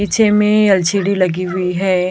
पीछे में एल_सी_डी लगी हुई है और --